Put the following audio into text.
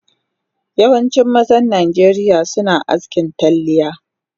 Yawancin mazan najeriya suna askin talliya